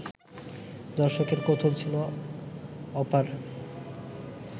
দর্শকের কৌতূহল ছিল অপার